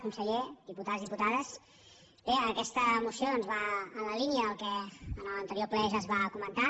conseller diputats diputades bé aquesta moció doncs va en la línia del que en l’anterior ple ja es va comentar